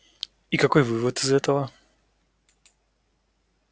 и какой вывод из этого